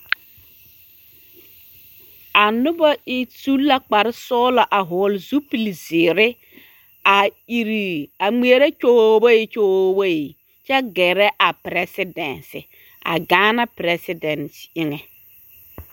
A noba su la kpare sɔgelɔ a hɔɔle zupili zeere a iri a ŋmeɛrɛ kyooboyi kyooboyi kyɛ gɛrɛ a perɛsedɛnse, a Gaana perɛsedɛnse eŋɛ.